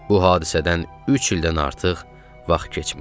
Bu hadisədən üç ildən artıq vaxt keçmişdi.